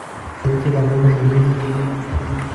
peek chechang kongmey minutiik